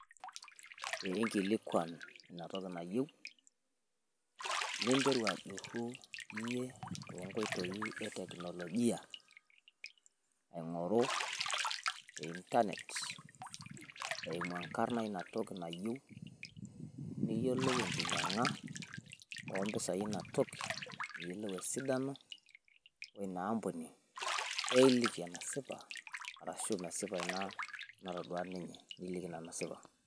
Pee nkilikuan ina toki nayieu ninteru ajurru iyie too nkoitoi e teknolojia aing'oru te internet. Eimu enkarna ina toki nayieu niyiolou enkinyiang'a o mpisai Ina toki pee iyiolou e sidano o ina ampuni. Pee iliki enasipa arashu mesipa ina natodua ninye niliki ina naasipa.